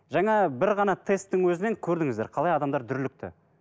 жаңа бір ғана тесттің өзінен көрдіңіздер қалай адамдар дүрлікті